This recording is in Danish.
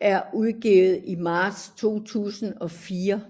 blev udgivet i marts 2004